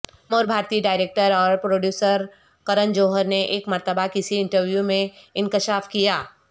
نامور بھارتی ڈائریکٹر اور پروڈیوسر کرن جوہر نے ایک مرتبہ کسی انٹرویو میں انکشاف کیا